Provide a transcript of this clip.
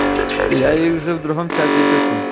я ей уже в другом чате пишу